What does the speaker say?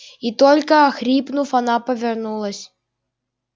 и только охрипнув она повернулась